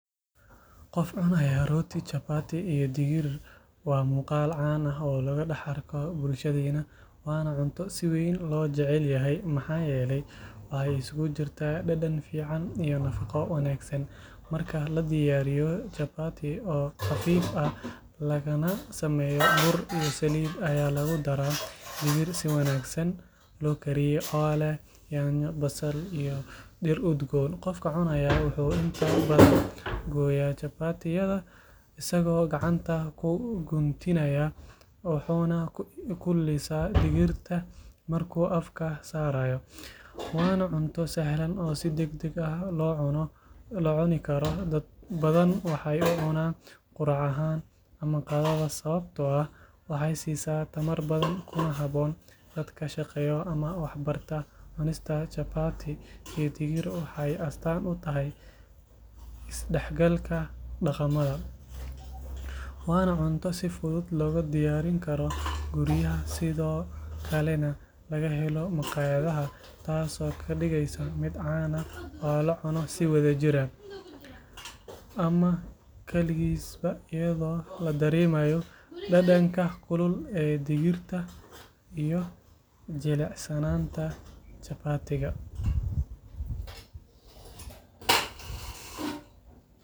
Qof cunaya rooti chapati iyo digir waa muuqaal caan ah oo laga dhex arko bulshadeena waana cunto si weyn loo jecel yahay maxaa yeelay waxay isugu jirtaa dhadhan fiican iyo nafaqo wanaagsan marka la diyaariyo chapati oo khafiif ah lagana sameeyo bur iyo saliid ayaa lagu daraa digir si wanaagsan loo kariyey oo leh yaanyo basal iyo dhir udgoon qofka cunaya wuxuu inta badan gooyaa chapati-yada isagoo gacanta ku guntinaya wuxuuna ku lisaa digirta markuu afka saarayo waana cunto sahlan oo si degdeg ah loo cuni karo dad badan waxay u cunaan quraac ahaan ama qadada sababtoo ah waxay siisaa tamar badan kuna habboon dadka shaqeeya ama wax barta cunista chapati iyo digir waxay astaan u tahay isdhexgalka dhaqamada waana cunto si fudud looga diyaarin karo guryaha sidoo kalena laga helo makhaayadaha taasoo ka dhigaysa mid caan ah oo loo cuno si wadajir ah ama kaligiisba iyadoo la dareemayo dhadhanka kulul ee digirta iyo jilicsanaanta chapati-ga.